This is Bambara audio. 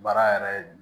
Baara yɛrɛ